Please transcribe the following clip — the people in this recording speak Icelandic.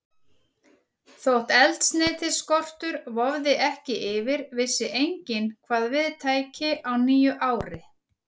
Þótt eldsneytisskortur vofði ekki yfir, vissi enginn, hvað við tæki á nýju ári.